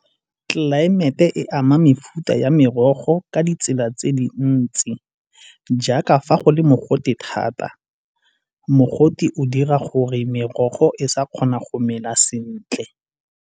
Tlelaemete e ama mefuta ya merogo ka ditsela tse dintsi, jaaka fa go le mogote thata, mogote o dira gore merogo e sa kgona go mela sentle.